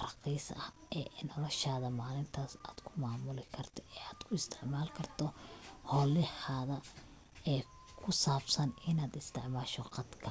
raaqis ah ee noloshada maalintas ad kumaamuli karto eevad ku isticmaali karto howlahada ee kusabsan inad isticmaasho qadka